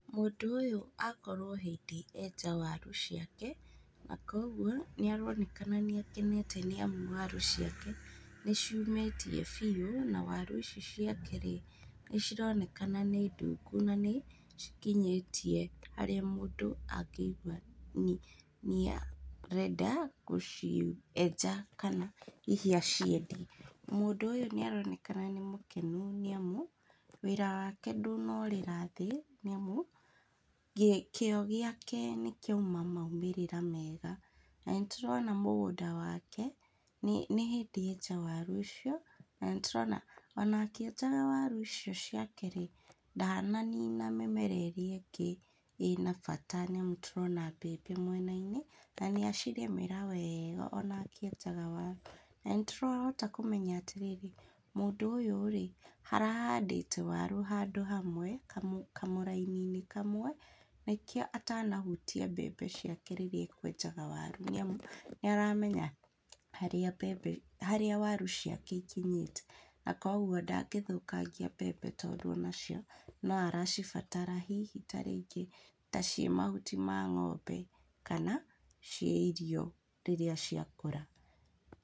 Mũndũ ũyũ akorwo o hĩndĩ enja waru ciake, na koguo nĩ aronekana nĩ akenete nĩ amu waru ciake nĩ ciumĩtie biũ, na waru ici ciake-rĩ, nĩ cironekana nĩ ndungu na nĩ cikinyĩtie harĩa mũndũ angĩigua ni arenda gũcienja kana hihi aciendia. Mũndũ ũyũ nĩ aronekana nĩ mũkenu nĩ amu wĩra wake ndũnorĩra thĩ nĩ amu kĩo gĩake nĩ kĩauma maumĩrĩra mega. Na nĩ tũrona mũgũnda wake nĩ nĩ hĩndĩ enja waru ũcio, na nĩtũrona ona akĩenjaga waru icio ciake-rĩ ndananina mĩmera ĩrĩa ĩngĩ ĩna bata, nĩ amu nĩ tũrona mbembe mũena-inĩ na nĩ acirĩmĩra wega ona akĩenjaga waru. Na nĩtũrahota kũmenya atirĩrĩ, mũndũ ũyũ-rĩ, arahandĩta waru handũ hamwe, kamũraini-inĩ kamwe, nĩkĩo atanahutia mbembe ciake rĩrĩa ekwenjaga waru. Nĩ amu nĩ aramenya harĩa mbembe, harĩa waru ciake cikinyĩte, na koguo ndangĩthũkangia mbembe tondũ ona cio no aracibatara hihi ta rĩngĩ ta ciĩ mahuti ma ng'ombe kana ciĩ irio rĩrĩa ciakũra.